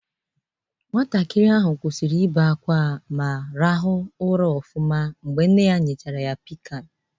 Nwatakịrị ahụ kwụsịrị ịbe ákwá ma hịkwa ụra ọfụma mgbe nne ya nyechara ya Pịkan